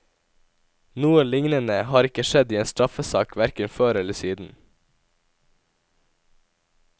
Noe lignende har ikke skjedd i en straffesak hverken før eller siden.